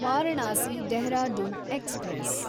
Varanasi Dehradun express